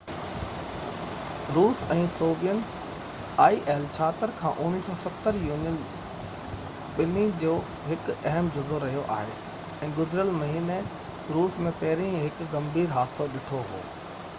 1970 کان il-76 روس ۽ soviet union ٻني جو هڪ اهم جزو رهيو آهي ۽ گذريل مهيني روس ۾ پهرين ئي هڪ ڳنڀير حادثو ڏٺو هو